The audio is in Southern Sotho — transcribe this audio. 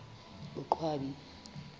boqwabi